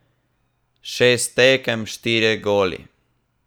Šest tekem, štirje goli!